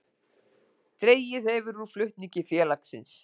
Dregið hefur úr flutningum félagsins